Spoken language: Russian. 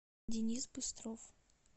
денис быстров